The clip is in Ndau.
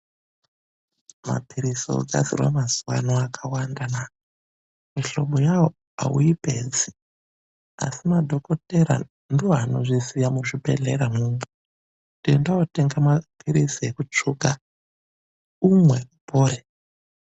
Maphirizi ogadzirwa mazuwano akawandana! Mihlobo yawo auyipedzi. Asi madhokothera ndiwo anozviziya muzvibhedhlera mwomwo. Kuti enda wootenga maphirizi ekutsvuka umwe.